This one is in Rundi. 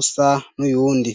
usa n'uyundi.